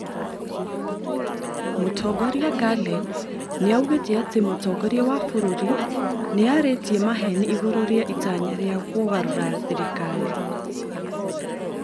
Mũtongoria Gullen nĩaugĩte atĩ mũtongoria wa bũrũri nĩarĩtie maheni igũrũ rĩa itanya rĩa kugarũra thirikari